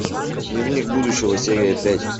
дневник будущего серия пять